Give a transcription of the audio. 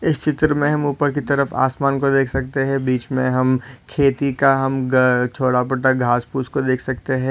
इस चित्र मे हम ऊपर की तरफ आसमान को देख सकते है बीच मे हम खेती का हम गा थोड़ा बहुत घास पुस को देख सकते है।